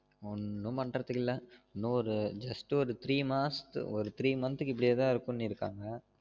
ஒன்னும் பண்றதுக்கு இல்ல இன்னு ஒரு just ஒரு three மாசத் three month க்கு இப்டியே தான் இருக்கும்னு இருக்காங்க